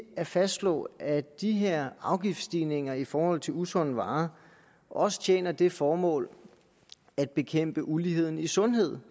at fastslå at de her afgiftsstigninger i forhold til usunde varer også tjener det formål at bekæmpe uligheden i sundhed